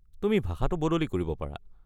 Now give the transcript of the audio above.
তুমি ভাষাটো বদলি কৰিব পাৰা।